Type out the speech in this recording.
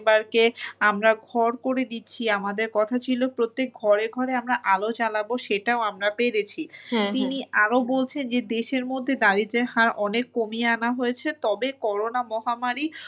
পরিবারকে আমরা ঘর করে দিচ্ছি। আমাদের কথা ছিল প্রত্যেক ঘরে ঘরে আমরা আলো জ্বালাবো সেটাও আমরা পেরেছি। আরো বলছেন যে দেশের মধ্যে দারিদ্রের হার অনেক কমিয়ে আনা হয়েছে। তবে corona মহামারী,